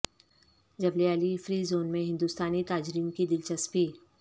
جبل Ali free zone میں ہندوستانی تاجرین کی دلچسپی